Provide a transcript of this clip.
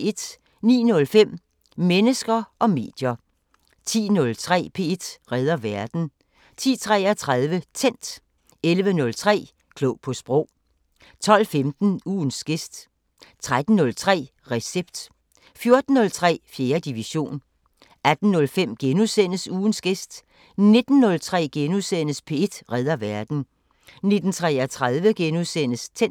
09:05: Mennesker og medier 10:03: P1 redder verden 10:33: Tændt 11:03: Klog på Sprog 12:15: Ugens gæst 13:03: Recept 14:03: 4. division 18:05: Ugens gæst * 19:03: P1 redder verden * 19:33: Tændt *